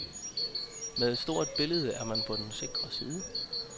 Med et stort billede er man på den sikre side.